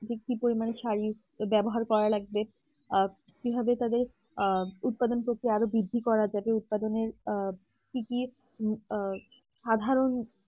যে কি পরিমানে সারিক ব্যবহার করার লাগবে কিভাবে তাদের আহ উদ্বোধন করতে আরো বৃদ্ধি করা যায় উৎপাদনের কি কি সাধারণ